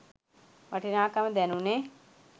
වටිනාකම දැනුනේ.